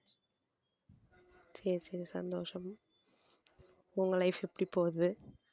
சரி சரி சந்தோஷம் உங்களை life எப்படி போகுது